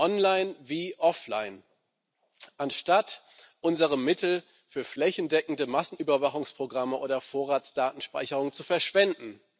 online wie offline investieren, anstatt unsere Mittel für flächendeckende Massenüberwachungsprogramme oder Vorratsdatenspeicherung zu verschwenden.